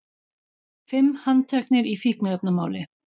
Fimm handteknir í fíkniefnamáli